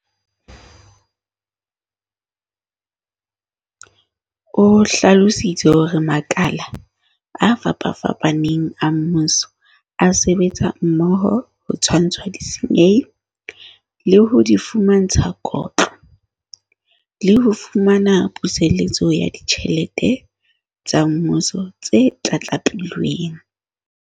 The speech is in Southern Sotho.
O hlalositse hore makala a fapafapaneng a mmuso a sebetsa mmoho ho tshwantsha disenyi, le ho di fumantsha kotlo, le ho fumana puseletso ya ditjhelete tsa Mmuso tse tlatlapilweng.